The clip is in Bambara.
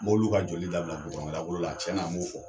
Mobiliw ka joli dabila dagolo la, tiɲɛna m'o fɔ.